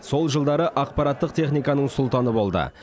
сол жылдары ақпараттық техниканың сұлтаны болды